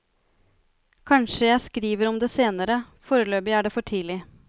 Kanskje jeg skriver om det senere, foreløpig er det for tidlig.